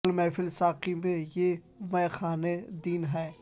چل محفل ساقی میں یہ مے خانے دن ہیں